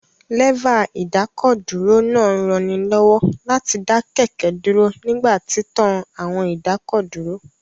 Lẹ́fà ìdákọ̀dúró náà ń ranilọ́wọ́ láti dá kẹ̀kẹ́ dúró nípa títan àwọn ìdákọ̀dúró